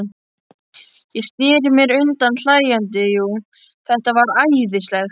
Ég sneri mér undan hlæjandi, jú, þetta var æðislegt.